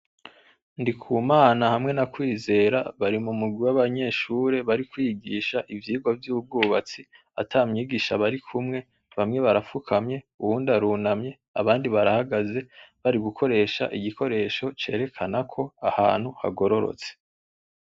Ndikumana hamwe na Kwizera bari mumurwi w'abanyeshure bari kwigisha ivyirwa vy'ubwubatsi ,ata mwigisha barikumwe ,bamwe barafukamye, uwundi arunamye , abandi barahagaze, bari gukoresha igikoresho cerekanako ahantu hagororotse.